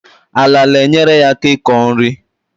Ala na-enyereaka iko nri